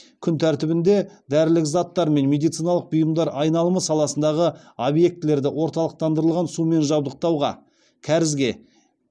күн тәртібінде дәрілік заттар мен медициналық бұйымдар айналымы саласындағы объектілерді орталықтандырылған сумен жабдықтауға кәрізге